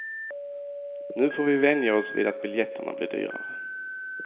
Nu får vi vänja oss vid att biljetterna blir dyrare.